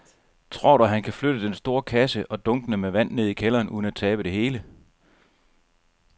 Tror du, at han kan flytte den store kasse og dunkene med vand ned i kælderen uden at tabe det hele?